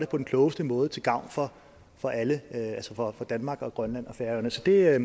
den klogeste måde til gavn for for alle altså for danmark og grønland og færøerne så det er